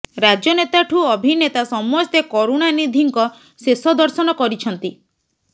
ରାଜନେତା ଠୁ ଅଭିନେତା ସମସ୍ତେ କରୁଣାନିଧିଙ୍କ ଶେଷ ଦର୍ଶନ କରିଛନ୍ତି